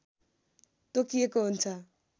तोकिएको हुन्छ